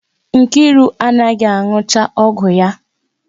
Nkiru anaghị anụcha ọgwụ ya.